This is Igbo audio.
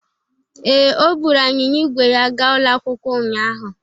Ee, o buru anyịnya ígwè ya gaa ụlọ akwụkwọ ụnyahụ.